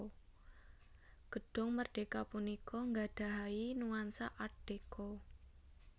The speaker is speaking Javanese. Gedhung Merdheka punika nggadhahi nuansa art deco